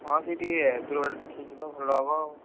ହଁ ସେଇ ଟିକେ ଦୂର ବାଟ ଦେଖିକି ଯିବା ଭଲ ହବ ଆଉ।